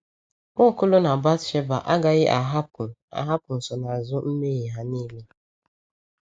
Nwaokolo na Bathsheba agaghị ahapụ ahapụ nsonaazụ mmehie ha niile.